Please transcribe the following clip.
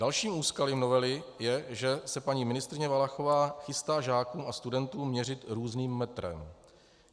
Dalším úskalím novely je, že se paní ministryně Valachová chystá žákům a studentům měřit různým metrem.